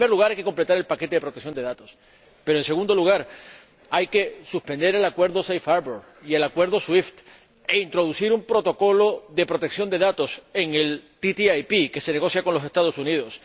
En primer lugar, hay que completar el paquete de protección de datos, pero, en segundo lugar, hay que suspender el Acuerdo Safe Harbour y el Acuerdo SWIFT e introducir un protocolo de protección de datos en el ATCI que se está negociando con los Estados Unidos.